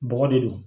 Bɔgɔ de don